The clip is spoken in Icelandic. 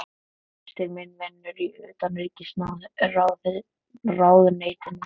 Systir mín vinnur í Utanríkisráðuneytinu.